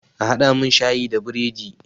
A haɗa mun shayi da biredi!